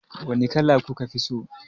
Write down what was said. Wani kala kuka fi so?